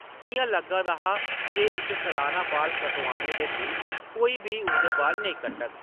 इ’यां लग्गा दा हा जे इस सलाना बाल कटोआने दे दिन कोई बी उसदे बाल नेईं कट्टग ।